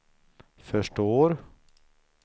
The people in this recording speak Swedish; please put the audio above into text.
förstår